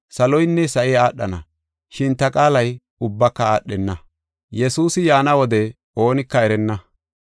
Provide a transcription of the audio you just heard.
Saloynne sa7i aadhana, shin ta qaalay ubbaka aadhenna.